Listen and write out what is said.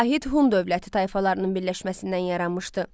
Vahid Hun dövləti tayfalarının birləşməsindən yaranmışdı.